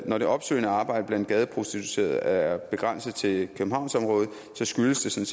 når det opsøgende arbejde blandt gadeprostituerede er begrænset til københavnsområdet skyldes det